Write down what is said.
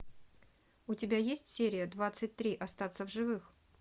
у тебя есть серия двадцать три остаться в живых